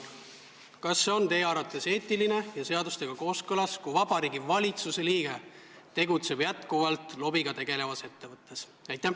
Kas see on teie arvates eetiline ja seadustega kooskõlas, kui Vabariigi Valitsuse liige on jätkuvalt tegev lobiga tegelevas ettevõttes?